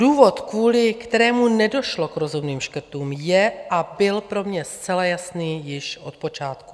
Důvod, kvůli kterému nedošlo k rozhodným škrtům, je a byl pro mě zcela jasný již od počátku.